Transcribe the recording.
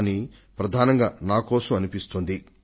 కానీ ప్రధానంగా నా కోసమేమో అనిపిస్తోంది